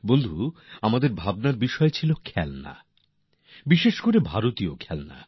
বন্ধুগণ আমাদের ভাবনা চিন্তার বিষয় ছিল খেলনা বিশেষ করে ভারতীয় খেলনা